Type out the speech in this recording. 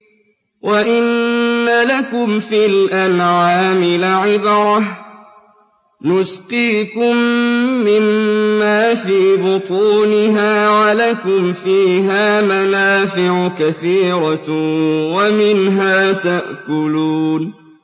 وَإِنَّ لَكُمْ فِي الْأَنْعَامِ لَعِبْرَةً ۖ نُّسْقِيكُم مِّمَّا فِي بُطُونِهَا وَلَكُمْ فِيهَا مَنَافِعُ كَثِيرَةٌ وَمِنْهَا تَأْكُلُونَ